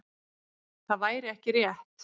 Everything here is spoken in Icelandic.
Það væri ekki rétt.